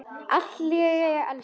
Allt í lagi, elskan.